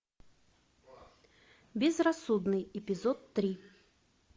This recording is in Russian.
безрассудный эпизод три